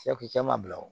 cɛ ma bila o